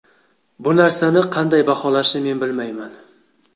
Bu narsani qanday baholashni men bilmayman.